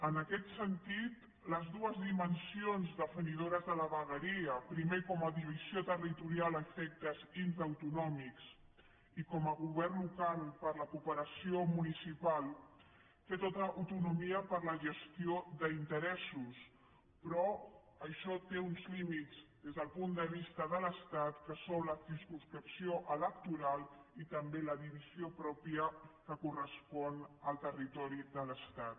en aquest sentit les dues dimensions definidores de la vegueria primer com a divisió territorial a efectes intraautonòmics i com a govern local per a la cooperació municipal tenen tota l’autonomia per a la gestió d’interessos però això té uns límits des del punt de vista de l’estat que són la circumscripció electoral i també la divisió mateixa que correspon al territori de l’estat